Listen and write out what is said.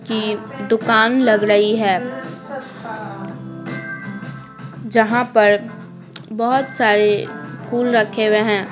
की दुकान लग रही है जहाँ पर बहुत सारे फूल रखे हुए हैं।